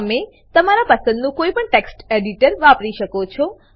તમે તમારા પસંદનું કોઈપણ ટેક્સ્ટ એડીટર વાપરી શકો છો